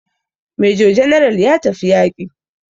Major general ya tafi yaƙi.